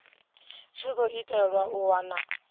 tshi khou itelwa u wana